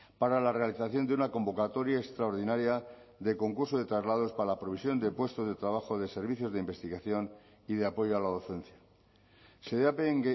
para la realización de una convocatoria extraordinaria de concurso de traslados para la provisión de puestos de trabajo de servicios de investigación y de apoyo a la docencia xedapen